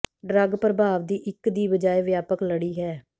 drug ਪ੍ਰਭਾਵ ਦੀ ਇੱਕ ਦੀ ਬਜਾਏ ਵਿਆਪਕ ਲੜੀ ਹੈ